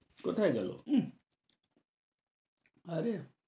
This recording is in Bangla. কোথায় গেল উম আরে